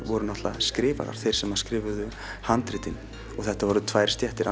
voru náttúruleg skrifarar þeir sem skrifuðu handritin þetta voru tvær stéttir